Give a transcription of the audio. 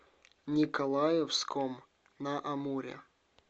николаевском на амуре